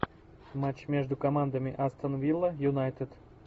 матч между командами астон вилла юнайтед